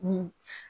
Ni